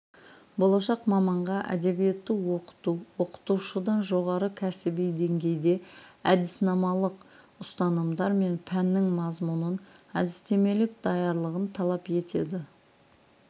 болашақ маманға әдебиетті оқыту оқытушыдан жоғары кәсіби деңгейде әдіснамалық ұстанымдар мен пәннің мазмұнын әдістемелік даярлығын талап етеді